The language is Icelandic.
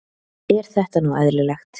Er þetta nú eðlilegt?